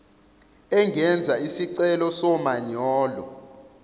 engenza isicelo somanyolo